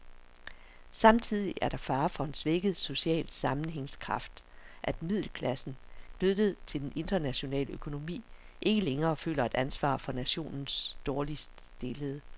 Samtidig er der fare for en svækket social sammenhængskraft, at middelklassen, knyttet til den internationale økonomi, ikke længere føler et ansvar for nationens dårligt stillede.